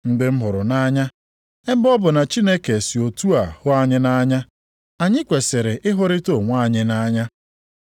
Ndị m hụrụ nʼanya, ebe ọ bụ na Chineke si otu a hụ anyị nʼanya, anyị kwesiri ịhụrịta onwe anyị nʼanya.